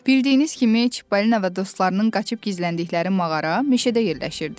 Bildiyiniz kimi, Çipalina və dostlarının qaçıb gizləndikləri mağara meşədə yerləşirdi.